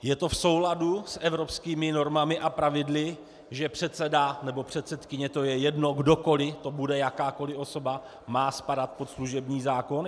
Je to v souladu s evropskými normami a pravidly, že předseda nebo předsedkyně, to je jedno, kdokoli to bude, jakákoli osoba, má spadat pod služební zákon?